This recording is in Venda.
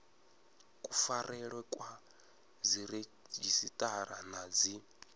kufarelwe kwa dziredzhisiṱara na dzi